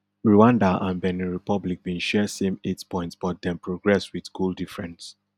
rwanda and benin republic bin share same eight points but dem progress wit goal difference